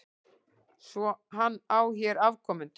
Svo hann á hér afkomendur?